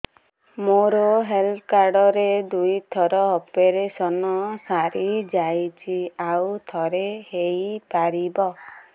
ମୋର health card ରେ ଦୁଇ ଥର ଅପେରସନ ସାରି ଯାଇଛି ଆଉ ଥର ହେଇପାରିବ